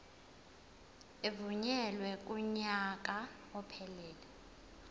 evunyelwe kunyaka ophelele